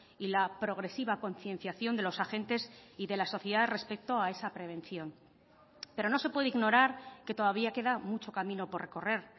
y la progresiva concienciación de los agentes y de la sociedad respecto a esa prevención pero no se puede ignorar que todavía queda mucho camino por recorrer